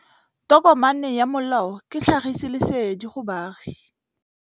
Tokomane ya molao ke tlhagisi lesedi go baagi.